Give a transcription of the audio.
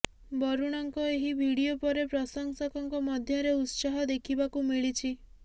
ବରୁଣଙ୍କ ଏହି ଭିଡିଓ ପରେ ପ୍ରଶଂସକଙ୍କ ମଧ୍ୟରେ ଉତ୍ସାହ ଦେଖିବାକୁ ମିଳିଛି